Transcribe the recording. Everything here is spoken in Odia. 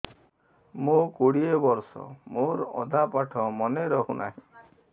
ମୋ କୋଡ଼ିଏ ବର୍ଷ ମୋର ଅଧା ପାଠ ମନେ ରହୁନାହିଁ